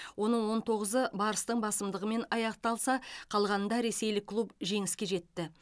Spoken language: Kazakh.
оның он тоғызы барыстың басымдығымен аяқталса қалғанында ресейлік клуб жеңіске жетті